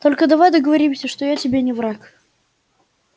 только давай договоримся что я тебе не враг